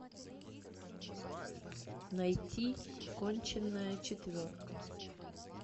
найти конченая четверка